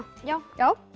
já já